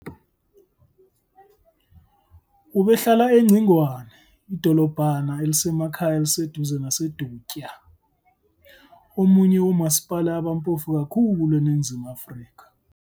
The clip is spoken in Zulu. Ubehlala eNgcingwane, idolobhana elisemakhaya eliseduzane naseDutywa, omunye womasipala abampofu kakhulu eNingizimu Afrika.